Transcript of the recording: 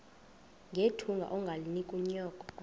nethunga ungalinik unyoko